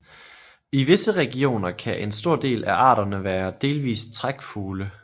I visse regioner kan en stor del af arterne være delvist trækfugle